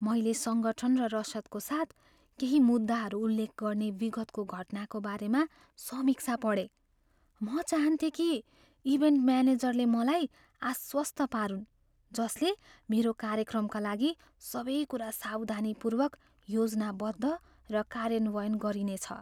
मैले सङ्गठन र रसदको साथ केही मुद्दाहरू उल्लेख गर्ने विगतको घटनाको बारेमा समीक्षा पढेँ। म चाहन्थेँ कि इभेन्ट म्यानेजरले मलाई आश्वस्त पारुन् जसले मेरो कार्यक्रमका लागि सबै कुरा सावधानीपूर्वक योजना बद्ध र कार्यान्वयन गरिनेछ।